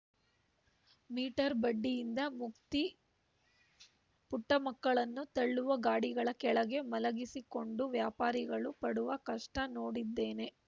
metre ಬಡ್ಡಿಯಿಂದ ಮುಕ್ತಿ ಪುಟ್ಟಮಕ್ಕಳನ್ನು ತಳ್ಳುವ ಗಾಡಿಗಳ ಕೆಳಗೆ ಮಲಗಿಸಿಕೊಂಡು ವ್ಯಾಪಾರಿಗಳು ಪಡುವ ಕಷ್ಟನೋಡಿದ್ದೇನೆ